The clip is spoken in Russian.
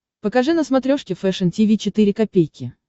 покажи на смотрешке фэшн ти ви четыре ка